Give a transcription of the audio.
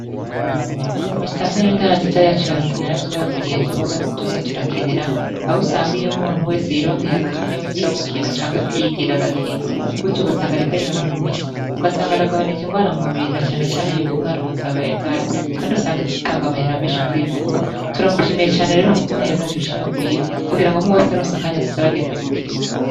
Musitanteri 'intaranziza yacu ya Rutana yaratwubakiye ikibuga tuzoza turakiniramwo, aho usanga umuntu wese yironkeye akanya ko kuja gukina aca yigira agakina. Gutyo, ugasanga ariko anonora imitsi, ugasanga aragabanuye ingwara mu mubiri, na cane cane yuko ingwara ubu zabaye ndanse. Kandi usanga dutanga amahera menshi kwivuza. Turamushimiye cane rero ukuntu yazanye ici ciyumviro kugira ngo umuntu wese aronse akanya azoze aragenda gukina.